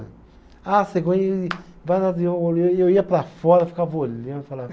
Ah, cegonha e, e eu ia para fora, ficava olhando e falava